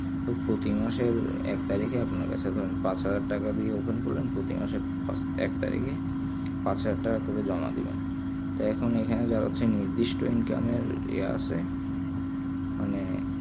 তো প্রতি মাসের এক তারিকে আপনার কাছে ধরেন পাঁচ হাজার টাকা দিয়ে open করলেন প্রতি মাসে এক তারিকেই পাঁচ হাজার টাকা করে জমা দেবেন তাই এখুন এখানে যা হচ্ছে নির্দিষ্ট income এর এ আসে মানে